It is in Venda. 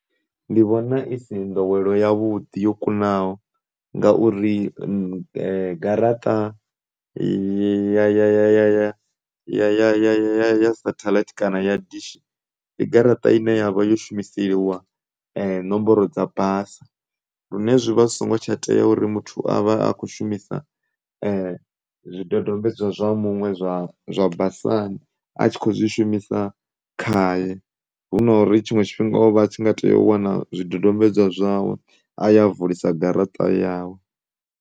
Ndi vhona i si nḓowelo ya vhuḓi yo kunaho ngauri garaṱa ya, ya, ya, ya, ya, ya, ya, ya shatheḽaithi kana ya dishi ndi garaṱa ine yavha yo shumiseliwa nomboro dza basa zwine zwi vha zwi songo tsha tea uri muthu avhe a tshi kho shumisa zwidodombedzwa zwa muṅwe zwa basani a tshi kho zwi shumisa khaye hu na uri tshiṅwe tshifhinga o vha a tshi nga tea u wana zwidodombedzwa zwawe a ya a vulisa garaṱa yawe.